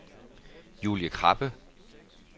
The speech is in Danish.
Julie Krabbe